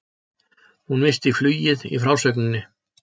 Hún missti flugið í frásögninni.